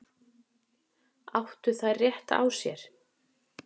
Áttu þær rétt á sér?